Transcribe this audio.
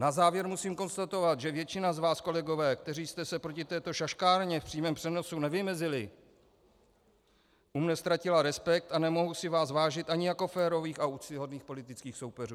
Na závěr musím konstatovat, že většina z vás, kolegové, kteří jste se proti této šaškárně v přímém přenosu nevymezili, u mne ztratila respekt a nemohu si vás vážit ani jako férových a úctyhodných politických soupeřů.